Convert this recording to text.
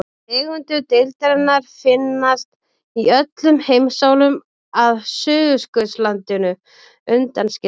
Tegundir deildarinnar finnast í öllum heimsálfum að Suðurskautslandinu undanskildu.